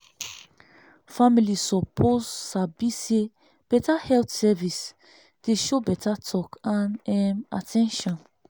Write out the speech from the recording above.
family suppose sabi say better health service dey show better talk and um at ten tion.